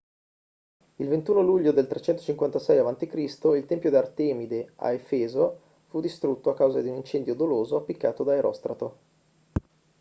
il 21 luglio del 356 a.c. il tempio di artemide a efeso fu distrutto a causa di un incendio doloso appiccato da erostrato